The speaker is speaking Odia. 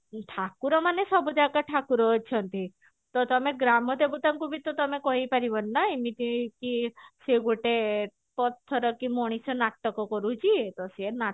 ଠାକୁର ମାନେ ସବୁ ଜାଗା ଠାକୁର ଅଛନ୍ତି ତ ତମେ ଗ୍ରାମ ଦେବତାଙ୍କୁ ବି ତ ତମେ କହିପାରିବନି ନା ଏମିତି କି ସେ ଗୋଟେ ପଥର କି ମଣିଷ ନାଟକ କରୁଛି କି ସିଏ ନାଟକ